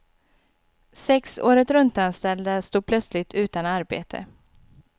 Sex åretruntanställda stod plötsligt utan arbete.